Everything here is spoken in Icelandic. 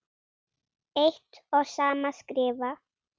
eitt og sama skrifa